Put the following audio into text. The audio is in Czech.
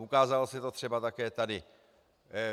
Ukázalo se to třeba také tady.